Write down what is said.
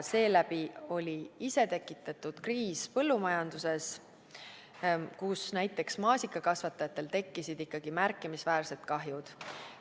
Seeläbi oli isetekitatud kriis põllumajanduses, kus näiteks maasikakasvatajatel tekkisid ikkagi märkimisväärsed kahjud.